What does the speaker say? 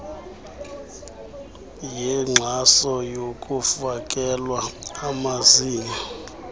yenkxaso yokufakelwa amazinyo